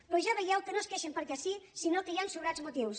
però ja veieu que no es queixen perquè si sinó que hi han sobrats motius